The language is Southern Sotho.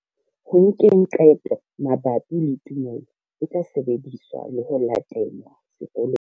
Ho nkeng qeto mabapi le tumelo e tla sebediswa le ho latelwa sekolong.